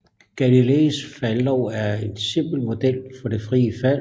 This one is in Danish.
Galileis faldlov er en simpel model for det frie fald